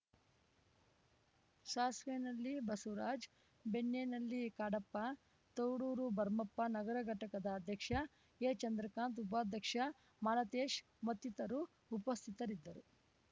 ಸಾಸ್ವೇನಹಳ್ಳಿ ಎಂಬಸವರಾಜ್‌ ಬೆಣ್ಣೆನಹಳ್ಳಿ ಕಾಡಪ್ಪ ತೌಡೂರು ಭರ್ಮಪ್ಪ ನಗರ ಘಟಕದ ಅಧ್ಯಕ್ಷ ಎಚಂದ್ರಕಾಂತ್‌ ಉಪಾಧ್ಯಕ್ಷ ಮಾಲತೇಶ್‌ ಮತ್ತಿರರು ಉಪಸ್ಥಿತರಿದ್ದರು